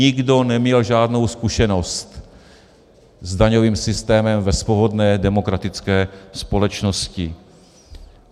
Nikdo neměl žádnou zkušenost s daňovým systémem ve svobodné demokratické společnosti.